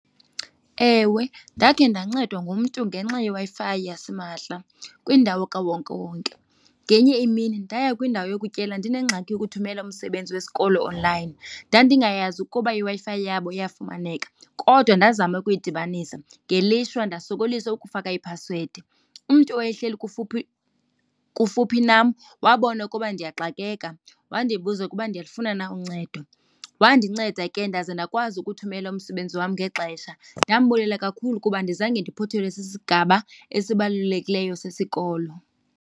Ewe, ndakhe ndancedwa ngumntu ngenxa yeWi-Fi yasimahla kwindawo kawonkewonke. Ngenye imini ndaya kwindawo yokutyela ndinengxaki yokuthumela umsebenzi wesikolo onlayini. Ndandingayazi ukuba iWi-Fi yabo iyafumaneka kodwa ndazama ukuyidibanisa ngelishwa ndosokolisa ukufaka iphasiwedi. Umntu owayehleli kufuphi, kufuphi nam wabona ukuba ndiyaxakeka wandibuza ukuba ndiyalufuna na uncedo. Wandinceda ke ndaze ndakwazi ukuthumela umsebenzi wam ngexesha, ndambulela kakhulu kuba andizange ndiphuthelwe sisigaba esibalulekileyo sesikolo.